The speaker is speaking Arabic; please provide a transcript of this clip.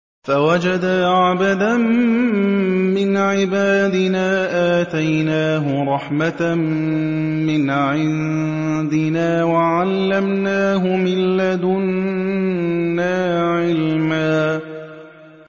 فَوَجَدَا عَبْدًا مِّنْ عِبَادِنَا آتَيْنَاهُ رَحْمَةً مِّنْ عِندِنَا وَعَلَّمْنَاهُ مِن لَّدُنَّا عِلْمًا